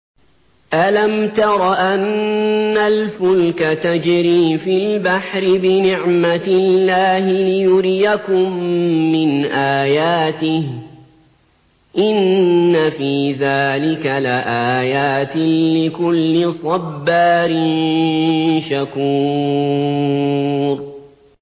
أَلَمْ تَرَ أَنَّ الْفُلْكَ تَجْرِي فِي الْبَحْرِ بِنِعْمَتِ اللَّهِ لِيُرِيَكُم مِّنْ آيَاتِهِ ۚ إِنَّ فِي ذَٰلِكَ لَآيَاتٍ لِّكُلِّ صَبَّارٍ شَكُورٍ